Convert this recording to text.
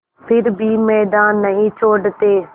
फिर भी मैदान नहीं छोड़ते